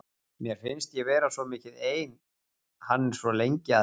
Mér finnst ég vera svo mikið ein, hann er svo lengi að heiman.